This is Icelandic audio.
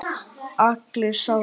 Allir sáu það.